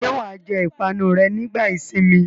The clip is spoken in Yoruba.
Ṣé wà á jẹ ìpanu rẹ nígbà ìsìnmi?